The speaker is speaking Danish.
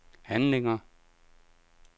handlinger